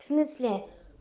в смысле